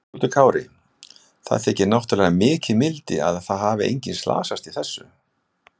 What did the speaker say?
Höskuldur Kári: Það þykir náttúrulega mikið mildi að það hafi engin slasast í þessu?